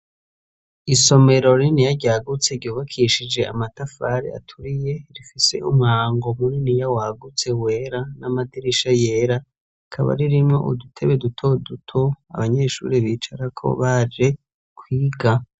Isomero rininiya ryagutse ryubakishije amatafari aturiye rifise umuryango muriniya wagutse wera n'amadirisha yera rikaba ririmwo udutebe dutoduto abanyeshure bicarako baje kwiga.